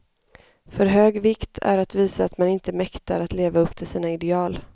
För hög vikt är att visa att man inte mäktar att leva upp till sina ideal.